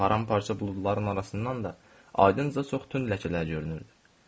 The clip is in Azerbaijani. Parça-parça buludların arasından da ayınca çox tünd ləkələr görünürdü.